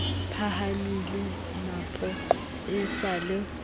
phahamele mapoqo e sa le